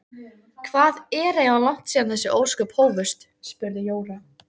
Hvað er eiginlega langt síðan þessi ósköp hófust? spurði Jóra.